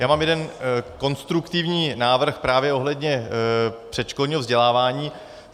Já mám jeden konstruktivní návrh právě ohledně předškolního vzdělávání.